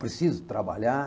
Eu preciso trabalhar.